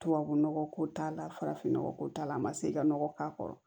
Tubabu nɔgɔ ko t'a la farafin nɔgɔ ko t'a la a ma se ka nɔgɔ k'a kɔrɔ